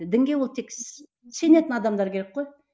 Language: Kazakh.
дінге ол тек сенетін адамдар керек қой